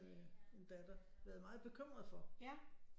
En datter været meget bekymret for